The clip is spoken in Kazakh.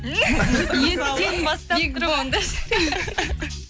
еттен бастап бигбон деші